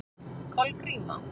Kolgríma